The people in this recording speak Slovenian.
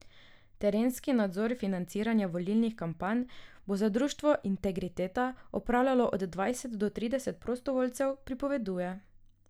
Terenski nadzor financiranja volilnih kampanj bo za društvo Integriteta opravljalo od dvajset do trideset prostovoljcev, pripoveduje.